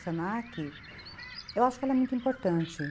se na que, eu acho que ela é muito importante.